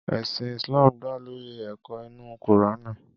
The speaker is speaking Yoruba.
Ẹ̀sìn Islam dá lórí ẹ̀kọ́ inú Kùránì.